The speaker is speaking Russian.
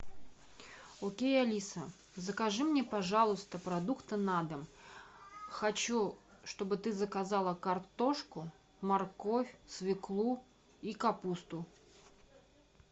окей алиса закажи мне пожалуйста продукты на дом хочу чтобы ты заказала картошку морковь свеклу и капусту